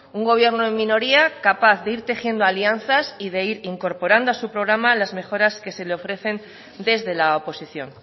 un gobierno en minoría capaz de ir tejiendo alianzas y de ir incorporando a su programa las mejoras que se le ofrecen desde la oposición